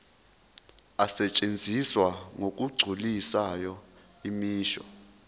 asetshenziswa ngokugculisayo imisho